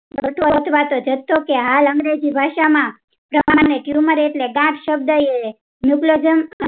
કહેવાતો જથ્થો કે હાલ અંગ્રેજી ભાષા માં tumor એટલે ગાંઠ શબ્દ એ